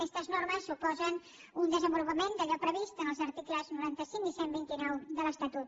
aquestes normes suposen un desenvolupament d’allò previst en els articles noranta cinc i cent i vint nou de l’estatut